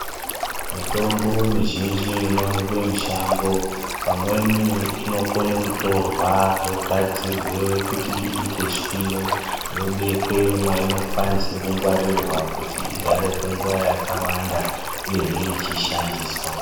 Mitombo mizhinji inoonekwe mushango, pamweni inokone kutorwa yogadzirwe kuti iite shwiro, yobekwe mwainokwanise kungwarirwa kuti igare kwenguva yakawanda, uyehe ichishandiswa.